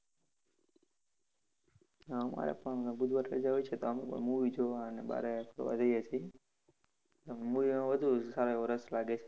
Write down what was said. અમારે પણ હોય છે તો movie જોવા અને બારે ફરવા જઈએ છી. Movie માં વધુ સારો એવો રસ લાગે.